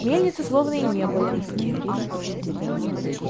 мельницы словно и не было